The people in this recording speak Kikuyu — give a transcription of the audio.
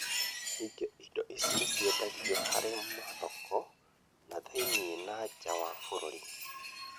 Ningĩ, indo ici nĩ ciendagio harĩ mathoko na thĩinie na nja wa bũrũri,